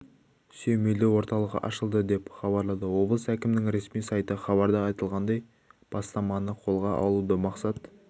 сүйемелдеу орталығы ашылды деп хабарлады облыс әкімінің ресми сайты хабарда айтылғандай бастаманы қолға алудағы мақсат